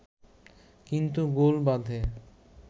কিন্তু গোল বাধে